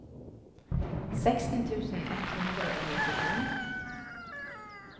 seksten tusen ett hundre og nittifem